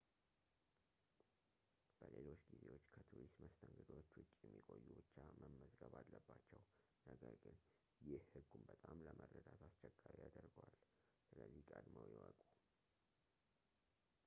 በሌሎች ጊዜዎች ከቱሪስት መስተንግዶዎች ውጪ የሚቆዩ ብቻ መመዝገብ አለባቸው ነገር ግን ይህ ህጉን በጣም ለመረዳት አስቸጋሪ ያደርገዋል ስለዚህ ቀድመው ይወቁ